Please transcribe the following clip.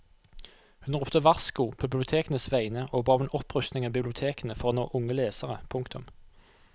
Hun ropte varsko på bibliotekenes vegne og ba om en opprustning av bibliotekene for å nå unge lesere. punktum